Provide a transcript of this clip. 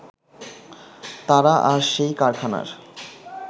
তারা আর সেই কারখানার